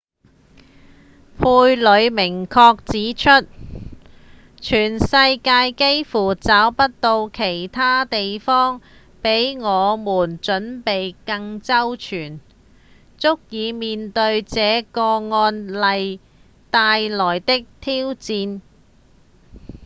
佩里明確指出：「全世界幾乎找不到其他地方比我們準備更周全足以面對這個案例帶來的挑戰」